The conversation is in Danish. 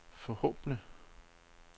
forhåbentlig